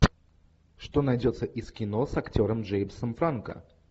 что найдется из кино с актером джеймсом франко